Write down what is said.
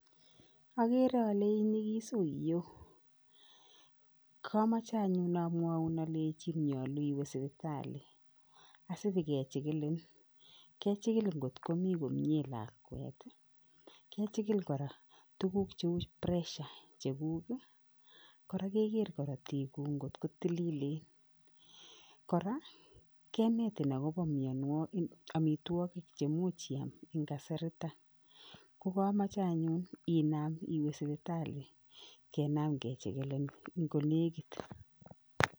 Akere ale inyikis. Kamoche anyun amwoun alechin nyolu iwe sipitali asipikechikilin. Kechikil nkot komi komie lakwet, kechikil kora tuguk cheu pressure cheguk, kora keker korotiguk nkot ko tililen, kora kenetin akopo amitwokik chemuch iboishe eng kasariton. Ko kamoche anyun inam iwe sipitali kenam kechikilin nkonekit.